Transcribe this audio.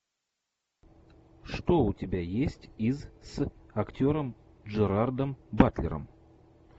что у тебя есть из с актером джерардом батлером